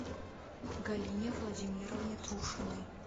галине владимировне трушиной